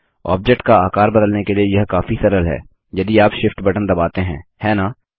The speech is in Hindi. ऑब्जेक्ट का आकार बदलने के लिए यह काफी सरल है यदि आप Shift बटन दबाते हैं है न